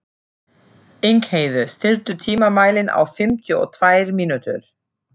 Ingheiður, stilltu tímamælinn á fimmtíu og tvær mínútur.